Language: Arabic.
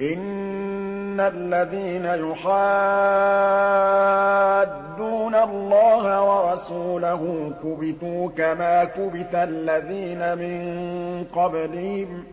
إِنَّ الَّذِينَ يُحَادُّونَ اللَّهَ وَرَسُولَهُ كُبِتُوا كَمَا كُبِتَ الَّذِينَ مِن قَبْلِهِمْ ۚ